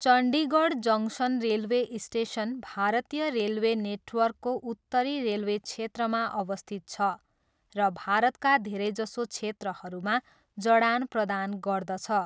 Chandigarh junction railway station भारतीय railway नेटवर्कको उत्तरी रेलवे क्षेत्रमा अवस्थित छ र भारतका धेरैजसो क्षेत्रहरूमा जडान प्रदान गर्दछ।